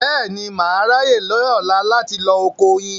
Bẹ́ẹ̀ni, mà á ráyè ní ọ̀la láti lọ oko oyin